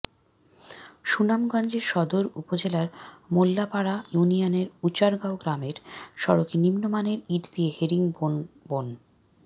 সুনামগঞ্জের সদর উপজেলার মোল্লাপাড়া ইউনিয়নের উচারগাঁও গ্রামের সড়কে নিম্নমানের ইট দিয়ে হেরিং বোন বন